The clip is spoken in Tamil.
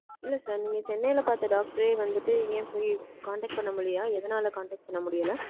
இல்ல, sir. நீங்க சென்னையில பார்த்த, doctor ஏ வந்துட்டு, ஏன் போய், contact பண்ண முடியலயா? எதனால contact பண்ண முடியல?